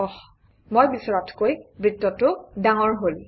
অস্ মই বিচৰাতকৈ বৃত্তটো ডাঙৰ হল